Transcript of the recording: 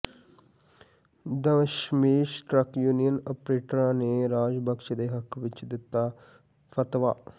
Dasmesh truck union ਓਪਰੇਟਰਾਂ ਨੇ ਰਾਜ ਬਖ਼ਸ਼ ਦੇ ਹੱਕ ਵਿੱਚ ਦਿੱਤਾ ਫ਼ਤਵਾ